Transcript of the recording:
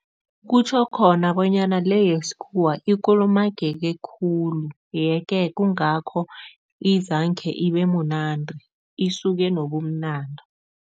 Kutjho khona bonyana le yesikhuwa ikulumangeke khulu yeke kungakho izangkhe ibe munandi, isuke nobumnandi.